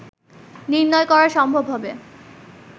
নির্ণয় করা সম্ভব হবে